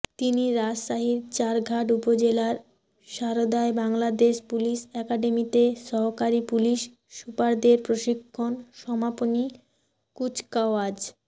তিনি রাজশাহীর চারঘাট উপজেলার সারদায় বাংলাদেশ পুলিশ একাডেমিতে সহকারী পুলিশ সুপারদের প্রশিক্ষণ সমাপনী কুচকাওয়াজ